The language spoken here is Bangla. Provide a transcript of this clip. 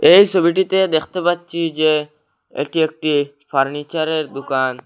এই সোবিটিতে দেখতে পাচ্ছি যে এটি একটি ফার্নিচারের দুকান।